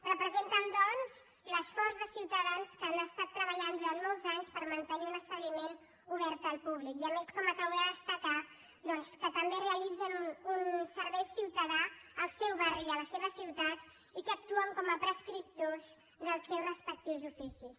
representen doncs l’esforç de ciutadans que han estat treballant durant molts anys per mantenir un establiment obert al públic i a més com acabo de destacar que també realitzen un servei ciutadà al seu barri i a la seva ciutat i que actuen com a prescriptors dels seus respectius oficis